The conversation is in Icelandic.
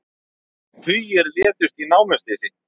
Tugir létust í námuslysi